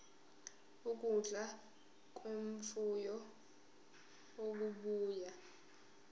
ukudla kwemfuyo okubuya